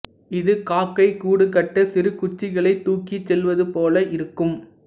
இது காக்கை கூடுகட்டச் சிறு குச்சிகளைத் தூக்கிச் செல்வது போல இருக்கும்